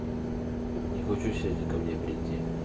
не хочешь сегодня ко мне прийти